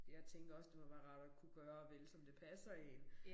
Jeg tænker også det må være rart at kunne gøre og vælge som det passer én